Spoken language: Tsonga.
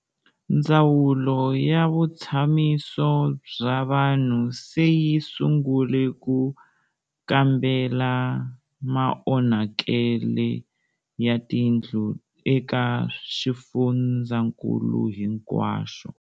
Ndzawulo ya Vutshamiso bya Vanhu se yi sungule ku kambela maonhakele ya tindlu eka xifundzankulu hinkwaxo.